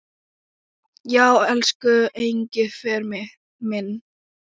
Já, elsku Engifer minn.